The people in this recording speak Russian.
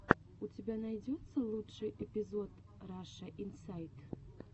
у тебя найдется лучший эпизод раша инсайт